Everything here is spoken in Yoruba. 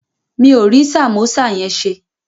Mi ò rí sàmósà yẹn ṣe